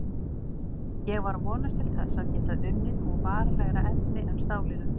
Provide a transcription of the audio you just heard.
Ég var að vonast til þess að geta unnið úr varanlegra efni en stálinu.